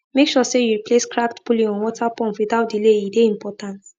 make sure say you replace cracked pulley on water pump without delay e dey important